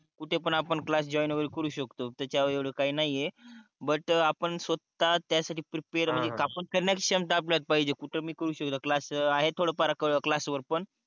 कुठे पन आपण क्लास जॉईन वगेरा करू शकतो त्याच्यावर एवड काही नाही आहे बट आपण स्वता त्या साठी प्रिपेर म्हणजे कापून फिरण्याची क्षमता आपल्यात पहिजे कुठ पन आहे थोड फार क्लास वर पन